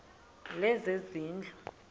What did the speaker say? lezezindlu